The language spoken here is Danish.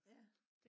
ja